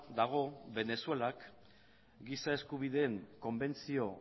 dago venezuelak giza eskubideen konbentzio